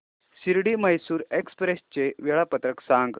Shirdi Mysore express चे वेळापत्रक सांग